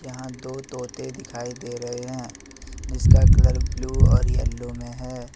यहां दो तोते दिखाई दे रहे हैं जिसका कलर ब्लू और येलो में है।